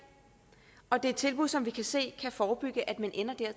og det er et tilbud som vi kan se kan forebygge at man ender der og